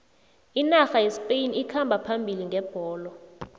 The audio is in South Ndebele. inarha yespain ikhamba phambili ngebholo